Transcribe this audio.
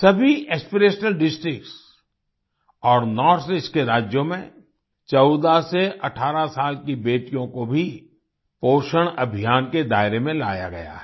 सभी aspirational district और north east के राज्यों में 14 से 18 साल की बेटियों को भी पोषण अभियान के दायरे में लाया गया है